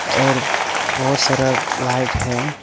और बहुत सारा लाइट है।